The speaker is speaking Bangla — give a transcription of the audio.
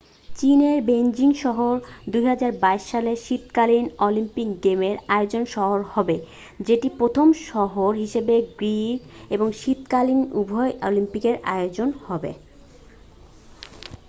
চীনের বেইজিং শহর 2022 সালের শীতকালীন অলিম্পিক গেমের আয়োজক শহর হবে যেটি প্রথম শহর হিসাবে গ্রীষ্ম এবং শীতকালীন উভয় অলিম্পিকের আয়োজক হবে